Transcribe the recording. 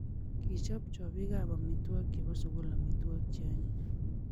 Kichob chobii ab amitwokik che bo sukul amitwokik che anyiny